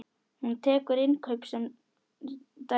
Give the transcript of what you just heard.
Hún tekur innkaup sem dæmi.